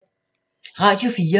Radio 4